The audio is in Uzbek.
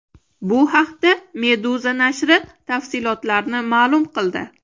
Bu haqda Meduza nashri tafsilotlarni ma’lum qildi .